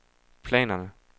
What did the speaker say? planerne